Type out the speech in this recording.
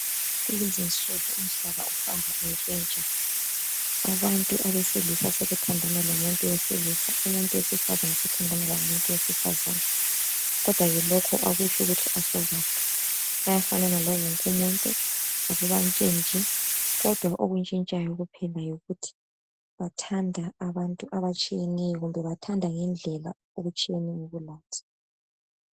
Kulezi insuku umhlaba suhamba utshintsha. Abantu besilisa sebethandana bodwa abesifazana labo ngokunjalo lokho akutsho ukuthi asasibobantu. Bayafanana lawonke umuntu ukutshiyeneyo kuphela yindlela abathanda ngayo abantu bobulili obufana labo.